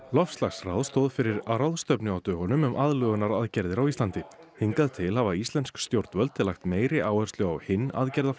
loftslagsráð stóð fyrir ráðstefnu á dögunum um aðlögunaraðgerðir á Íslandi hingað til hafa íslensk stjórnvöld lagt meiri áherslu á hinn